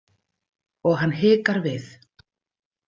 Og hann hikar við.